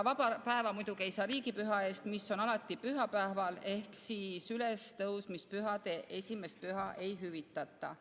Vaba päeva ei saa riigipüha eest, mis on alati pühapäeval ehk ülestõusmispühade 1. püha ei hüvitata.